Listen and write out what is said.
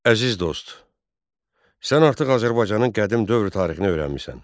Əziz dost, sən artıq Azərbaycanın qədim dövrü tarixini öyrənmisən.